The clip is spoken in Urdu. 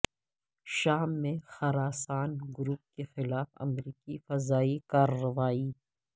شام میں خراسان گروپ کے خلاف امریکی فضائی کارروائی